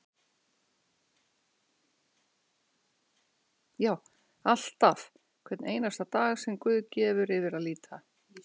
Já, alltaf, hvern einasta dag sem guð gefur yfir að líta.